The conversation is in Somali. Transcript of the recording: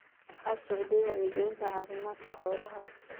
Waxaa socday wacyigelinta caafimaadka xoolaha.